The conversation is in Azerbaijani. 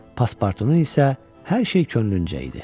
Paspartunun isə hər şey könlüncə idi.